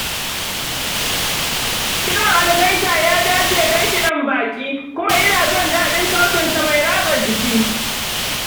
Kiɗan algaita ya dace don kiɗan baƙi, kuma ina son daɗin sautinsa mai ratsa jiki.